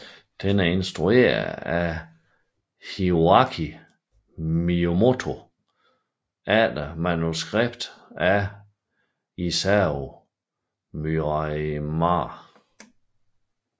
Den er instrueret af Hiroaki Miyamoto efter manuskript af Isao Murayama